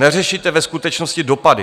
Neřešíte ve skutečnosti dopady.